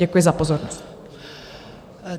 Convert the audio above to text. Děkuji za pozornost.